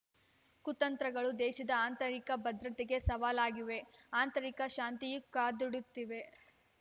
ಕುತಂತ್ರಗಳು ದೇಶದ ಆಂತರಿಕ ಭದ್ರತೆಗೆ ಸವಾಲಾಗಿವೆ ಆಂತರಿಕ ಶಾಂತಿ ಕದುಡುತ್ತಿವೆ